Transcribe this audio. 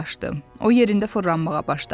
O yerində fırlanmağa başladı.